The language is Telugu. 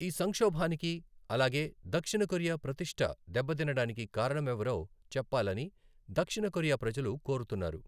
ఈ సంక్షోభానికి, అలాగే దక్షిణ కొరియా ప్రతిష్ట దెబ్బతినడానికి కారణమెవరో చెప్పాలని దక్షిణ కొరియా ప్రజలు కోరుతున్నారు.